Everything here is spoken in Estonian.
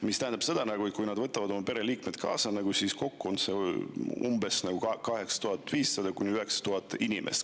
See tähendab seda, et kui nad võtavad oma pereliikmed kaasa, siis kokku on see umbes 8500–9000 inimest.